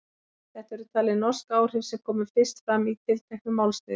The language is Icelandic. Þetta eru talin norsk áhrif sem komu fyrst fram í tilteknu málsniði.